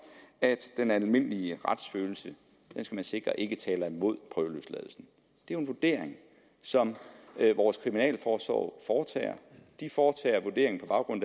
at den almindelige retsfølelse skal man sikre ikke taler imod prøveløsladelsen det er en vurdering som vores kriminalforsorg foretager de foretager vurderingen på baggrund